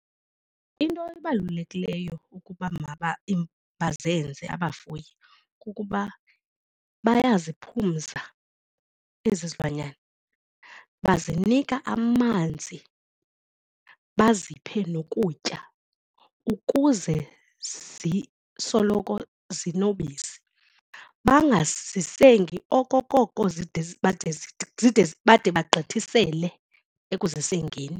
Into ebalulekileyo ukuba bazenze abafuyi kukuba bayaziphumza ezi zilwanyana, bazinika amanzi baziphe nokutya ukuze zisoloko zinobisi, bangazisengi okokoko zide bade zide bade bagqithisele ekuzisengeni.